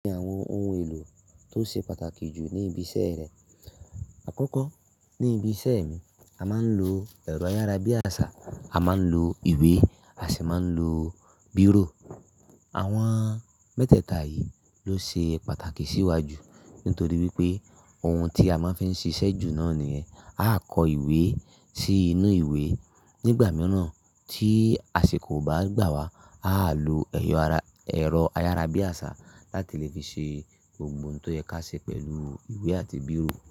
Ní àwọn ohun èlò tó ṣe pàtàkì jù ní ibi iṣẹ́ rẹ. Àkọ́kọ́ ní ibi iṣẹ́ mi, a máa ń lo ẹ̀rọ ayárabíàṣá, a máa ń lo ìwé, a sì máa ń lo bírò. Àwọn mẹ́tẹ̀ẹ̀ta yìí ló ṣe pàtàkì sí wa jù nítorí wípé ohun tí a máa ń fi ń ṣiṣẹ́ jù náà nìyẹn. A á kọ ìwé sí inú ìwé. Nígbà mìíràn tí àsè kò bá gbà wá, a á lo ẹ̀rọ ayárabíàṣá láti lè fi ṣe gbogbo ohun tó yẹ ká ṣe pẹ̀lú ìwé àti bírò.